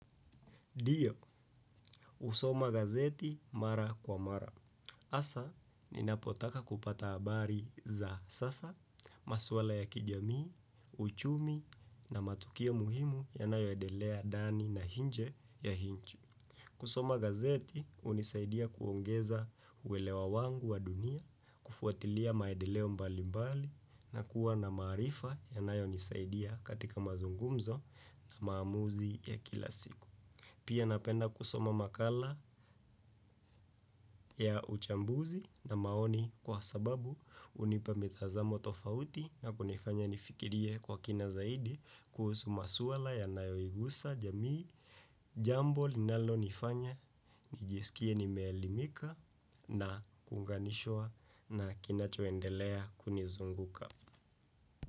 Dio, usoma gazeti mara kwa mara. Asa, ninapotaka kupata abari za sasa, maswala ya kijami, uchumi na matukia muhimu yanayo edelea dani na hinje ya hinchu. Kusoma gazeti, unisaidia kuongeza uwelewa wangu wa dunia, kufuatilia maedeleo mbali mbali na kuwa na marifa yanayo nisaidia katika mazungumzo na maamuzi ya kila siku. Pia napenda kusoma makala ya uchambuzi na maoni kwa sababu unipa mitazamo tofauti na kunifanya nifikirie kwa kina zaidi kuhusu maswala ya nayoigusa jamii. Jambo linalo nifanya nijisikie nimeelimika na kunganishwa na kinachoendelea kunizunguka.